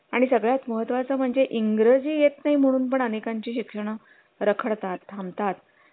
आणि सगळ्यात महत्त्वा चं म्हणजे इंग्रजी येत नाही म्हणून पण अनेकांची शिक्षण रखडात थांबतात